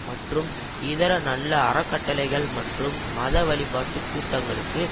மற்றும் இதர நல்ல அறக்கட்டளைகள் மற்றும் மத வழிப்பாட்டு கூட்டங்களுக்கு